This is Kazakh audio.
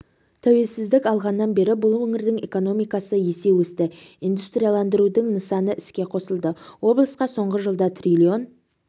тәуелсіздік алғаннан бері бұл өңірдің экономикасы есе өсті индустрияландырудың нысаны іске қосылды облысқа соңғы жылда триллион